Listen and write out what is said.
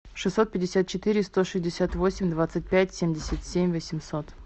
шестьсот пятьдесят четыре сто шестьдесят восемь двадцать пять семьдесят семь восемьсот